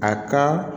A ka